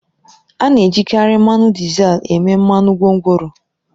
A na-ejikarị mmanụ dizel eme mmanụ gwongworo